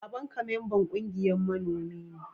Baban ka memban ƙungiyan manomi ne?